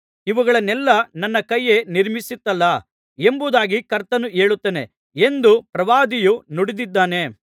ಇವುಗಳನ್ನೆಲ್ಲಾ ನನ್ನ ಕೈಯೇ ನಿರ್ಮಿಸಿತಲ್ಲಾ ಎಂಬುದಾಗಿ ಕರ್ತನು ಹೇಳುತ್ತಾನೆ ಎಂದು ಪ್ರವಾದಿಯು ನುಡಿದಿದ್ದಾನೆ